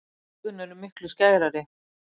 Augun eru miklu skærari.